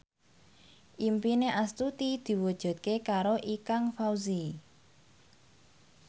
impine Astuti diwujudke karo Ikang Fawzi